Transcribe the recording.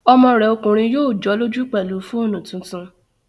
Ọmọ rẹ̀ ọkùnrin yóò jọ́lọ́jú pẹ̀lú fóònù tuntun